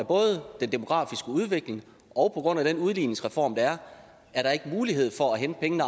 den demografiske udvikling og den udligningsreform der er at der ikke er mulighed for at hente pengene